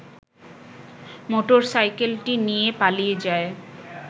motor সাইকেলটি নিয়ে পালিয়ে যায়